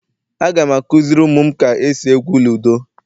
Aga m akuziri umum ka esi egwu ludo